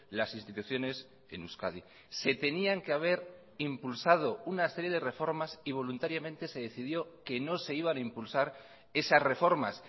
las instituciones en euskadi se tenían que haber impulsado una serie de reformas y voluntariamente se decidió que no se iban a impulsar esas reformas